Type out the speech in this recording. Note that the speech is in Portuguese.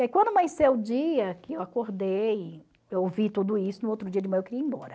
E aí quando amanheceu o dia que eu acordei, eu ouvi tudo isso, no outro dia de manhã eu queria ir embora.